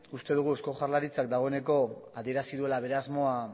uste dugu eusko jaurlaritzak dagoeneko adierazi duela bere asmoa